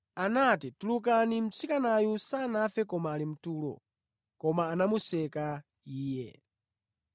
anati, “Tulukani, mtsikanayu sanafe koma ali mtulo.” Koma anamuseka Iye.